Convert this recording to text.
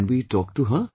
Can we talk to her